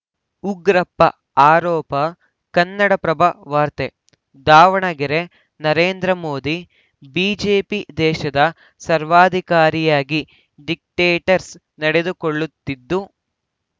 ಉಗ್ರಪ್ಪ ಆರೋಪ ಕನ್ನಡಪ್ರಭ ವಾರ್ತೆ ದಾವಣಗೆರೆ ನರೇಂದ್ರ ಮೋದಿ ಬಿಜೆಪಿ ದೇಶದ ಸರ್ವಾಧಿಕಾರಿಯಾಗಿ ಡಿಕ್ಟೇಟರ್ಸ ನಡೆದುಕೊಳ್ಳುತ್ತಿದ್ದು